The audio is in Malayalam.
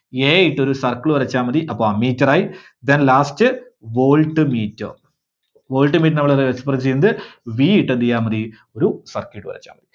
A ഇട്ട് ഒരു circle വരച്ചാൽ മതി. അപ്പോ Ammeter ആയി. Then last Voltmeter. Voltmeter നെ നമ്മള് express ചെയ്യുന്നത് V ഇട്ട് എന്ത് ചെയ്‌താൽ മതി ഒരു circle ഇട്ട് വരച്ചാൽ മതി.